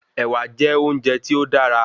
Ẹ̀wà jẹ́ óúnje tí ó dára